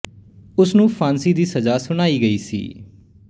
ਉਸ ਨੂੰ ਫ਼ਾਂਸੀ ਦੀ ਸਜ਼ਾ ਸੁਣਾਈ ਗਈ ਸੀ